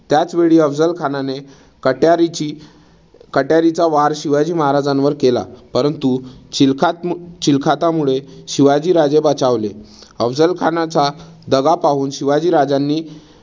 त्याचवेळी अफझल खानाने कट्यारीची कट्यारीचा वार शिवाजी महाराजांवर केला. परंतु चील्खात चिलखतामुळे शिवाजी राजे बचावले. अफझल खानाचा दगा पाहून शिवाजी राजांनी